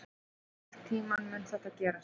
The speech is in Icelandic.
Einhvern tíma mun það gerast.